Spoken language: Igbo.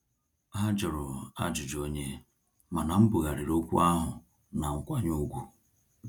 Ha jụrụ ajụjụ onye, mana mbughariri okwu ahụ na nkwanye ùgwù